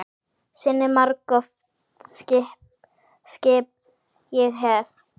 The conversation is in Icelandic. Sinni margoft skipt ég hefi.